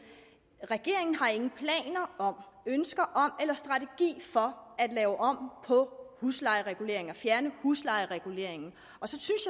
regeringen har ingen planer om ønsker om eller strategi for at lave om på huslejereguleringen altså at fjerne huslejereguleringen så